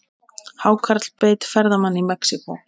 Hákarl beit ferðamann í Mexíkó